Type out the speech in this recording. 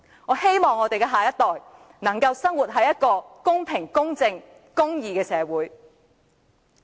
我希望下一代能夠生活在一個公平、公正和公義的社會。